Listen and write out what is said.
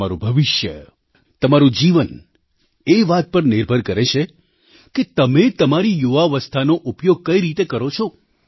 તમારું ભવિષ્ય તમારું જીવન એ વાત પર નિર્ભર કરે છે કે તમે તમારી યુવાવસ્થાનો ઉપયોગ કઇ રીતે કરો છો